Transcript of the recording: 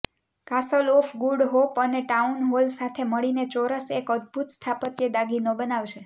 castle of good hope અને town hall સાથે મળીને ચોરસ એક અદભૂત સ્થાપત્ય દાગીનો બનાવશે